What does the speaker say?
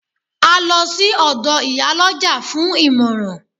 A lọ sí ọ̀dọ̀ Ìyálọ́jà fún ìmọ̀ràn